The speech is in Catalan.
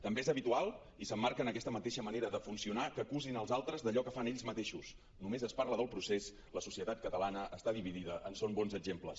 també és habitual i s’emmarca en aquesta mateixa manera de funcionar que acusin els altres d’allò que fan ells mateixos només es parla del procés la societat catalana està dividida en són bons exemples